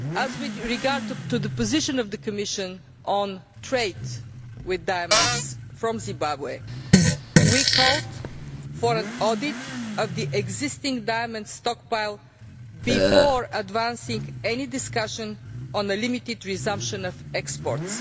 With regard to the position of the Commission on trade with diamonds from Zimbabwe, we called for an audit of the existing diamond stockpile before advancing any discussion on the limited resumption of exports.